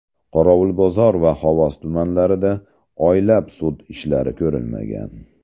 Qorovulbozor va Xovos tumanlarida oylab sud ishlari ko‘rilmagan.